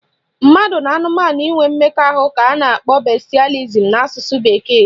Mmadụ na anụmanụ inwe mmekọ ka a na-akpọ bestialism na asụsụ bekee